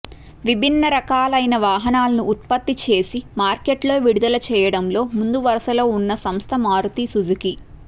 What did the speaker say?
విభిన్నరకాలైన వాహనాలను ఉత్పత్తి చేసి మార్కెట్లో విడుదల చేయడంలో ముందు వరుసలో ఉన్న సంస్థ మారుతీ సుజుకీ